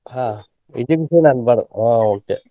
ಹಾ okay .